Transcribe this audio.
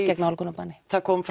gegn nálgunarbanni það kom